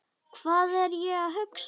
Hvað er ég að hugsa?